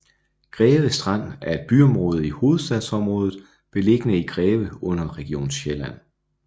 Greve Strand er et byområde i Hovedstadsområdet beliggende i Greve Kommune under Region Sjælland